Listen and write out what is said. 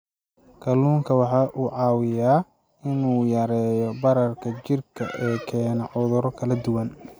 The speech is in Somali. Kalluunku waxa uu caawiyaa in uu yareeyo bararka jidhka ee keena cudurro kala duwan.